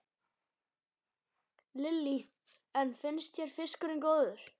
Lillý: En finnst þér fiskurinn góður?